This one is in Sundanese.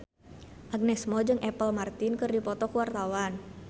Agnes Mo jeung Apple Martin keur dipoto ku wartawan